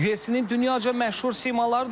UFC-nin dünyaca məşhur simaları da var.